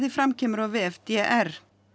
fram kemur á vef d r